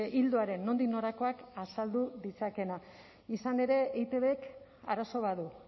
ildoaren nondik norakoak azaldu ditzakeena izan ere eitbk arazo bat du